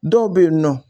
Dɔw bɛ yen nɔ